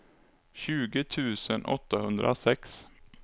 tjugo tusen åttahundrasex